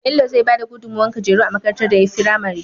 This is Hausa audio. Bello zai bada gudun mawar kujeru a makarantar da yayi fimare